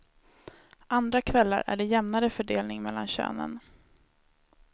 Andra kvällar är det jämnare fördelning mellan könen.